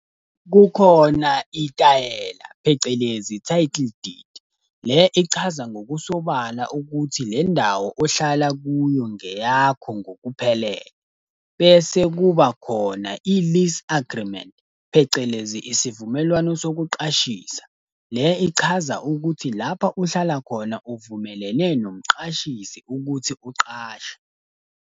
Kukhona itayela, phecelezi title deed. Le ichaza ngokusobala ukuthi le ndawo ohlala kuyo ngeyakho ngokuphelele. Bese kuba khona i-lease agreement, phecelezi isivumelwano sokuqashisa. Le ichaza ukuthi lapha uhlala khona uvumelene nomqashisi ukuthi uqashe.